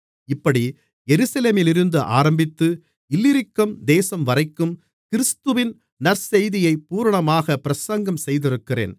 இப்படி எருசலேமிலிருந்து ஆரம்பித்து இல்லிரிக்கம் தேசம்வரைக்கும் கிறிஸ்துவின் நற்செய்தியைப் பூரணமாகப் பிரசங்கம் செய்திருக்கிறேன்